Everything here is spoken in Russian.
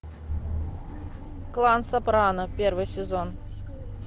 клан сопрано первый сезон